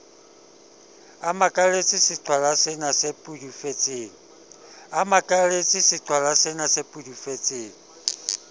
a makaletse seqhwalasena se pudufetseng